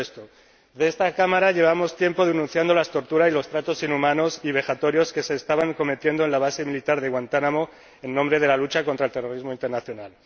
En esta Cámara llevamos tiempo denunciando la tortura y los tratos inhumanos y vejatorios que se estaban cometiendo en la base militar de Guantánamo en nombre de la lucha contra el terrorismo internacional.